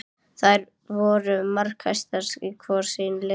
Þær voru markahæstar hvor í sínu liði.